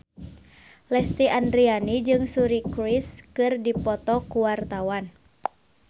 Lesti Andryani jeung Suri Cruise keur dipoto ku wartawan